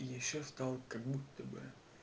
ещё стал как будто бля